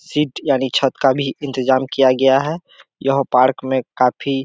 seat यानि छत का भी इंतजाम किया गया है यह पार्क में काफी --